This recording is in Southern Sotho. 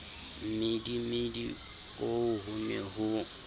mmidimidi oo ho ne ho